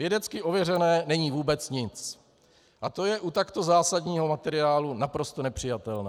Vědecky ověřené není vůbec nic a to je u takto zásadního materiálu naprosto nepřijatelné.